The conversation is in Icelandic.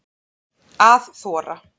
Að þora